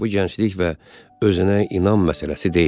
Bu gənclik və özünə inam məsələsi deyil.